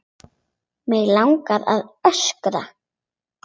Mig langar að öskra.